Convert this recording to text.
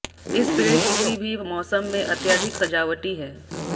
इस पेड़ किसी भी मौसम में अत्यधिक सजावटी है